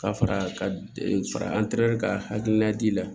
Ka fara ka fara ka hakilina di la